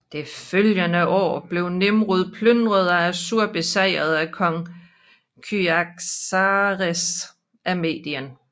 Det følgende år blev Nimrud plyndret og Assur besejret af Kong Kyaxares af Medien